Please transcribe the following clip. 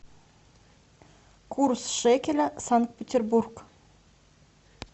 курс шекеля санкт петербург